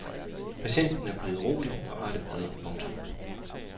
Patienten er blevet rolig og har det bedre. punktum